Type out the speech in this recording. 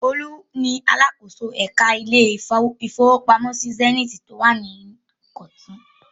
Olú ni alákòóso ẹ̀ka ilé-ìfowópamọ́sí Zenith tó wà ní Ìkọ̀tún.